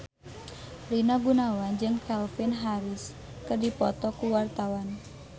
Rina Gunawan jeung Calvin Harris keur dipoto ku wartawan